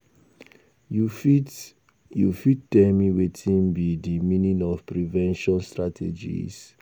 You fit you fit tell me wetin be di meaning of prevention strategies?